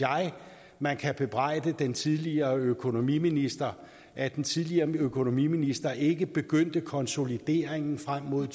man kan bebrejde den tidligere økonomiminister er at den tidligere økonomiminister ikke begyndte konsolideringen frem mod